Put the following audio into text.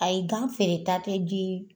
Ayi gan feereta te di